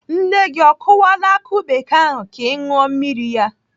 Nne gị o kụwala akụ bekee ahụ ka ị ṅụọ mmiri ya?